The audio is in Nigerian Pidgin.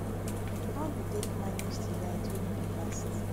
how you take manage di light wey no dey last